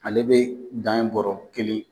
Ale bɛ dan ye bɔɔrɔ kelen.